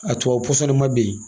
A tubabu pɔsɔnni ma bɛn